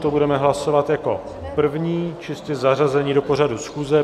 To budeme hlasovat jako první, čistě zařazení do pořadu schůze.